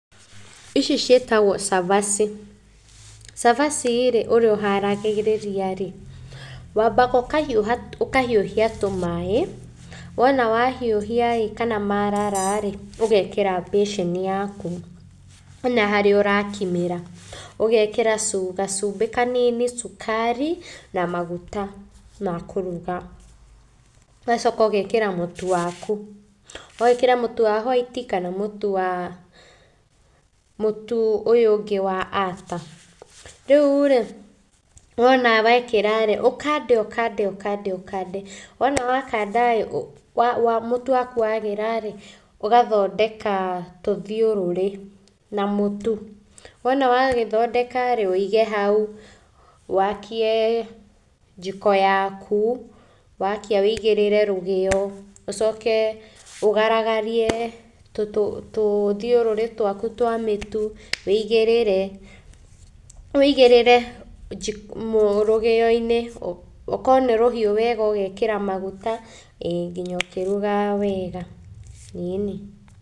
Ici ciĩtagwo cabaci. Cabaci rĩ, ũrĩa ũharagĩrĩria rĩ, wambaga ũkahiũha, ũkahiũhia tũmaĩ, wona wahiũhia ĩ kana marara rĩ, ũgekĩra mbĩcĩni yaku kana harĩa ũrakimĩra, ũgekĩra gacumbĩ kanini cukari na maguta ma kũruga. Ũgacoka ũgekĩra mũtu waku, no wĩkĩre mũtu wa hwaiti kana mũtu ũyũ ũngĩ wa ata. Rĩu rĩ, wona wekĩra rĩ, ũkande ũkande ũkande ũkande, wona wakanda ĩ mũtu waku wagĩra rĩ, ũgathondeka tũthiũrũrĩ na mũtu. Wona wagĩthondeka rĩ, ũige hau, wakie njiko yaku, wakia wĩigĩrĩre rũgĩo ũcoke ũgaragarie tũthiũrũrĩ twaku twa mĩtu. Wĩigĩrĩre, wĩigĩrĩre rũgĩo-inĩ ũkorwo nĩ rũhiũ wega ũgekĩra maguta, ĩĩ nginya ũkĩrugaga wega, ĩni.